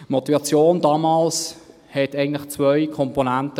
Die Motivation damals hatte eigentlich zwei Komponenten.